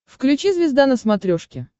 включи звезда на смотрешке